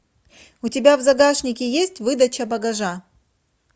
у тебя в загашнике есть выдача багажа